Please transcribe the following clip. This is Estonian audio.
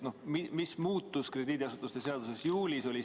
Mis muutus krediidiasutuste seaduses juulis?